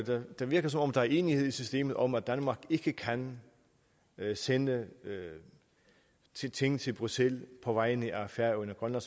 det virker som om der er enighed i systemet om at danmark ikke kan sende ting til bruxelles på vegne af færøerne og